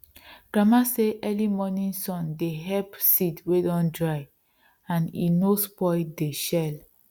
grandma say early morning sun dey help seeds wey don dry and e no spoil dey shell